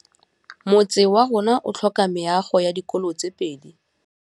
Motse warona o tlhoka meago ya dikolô tse pedi.